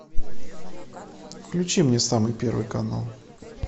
включи мне самый первый канал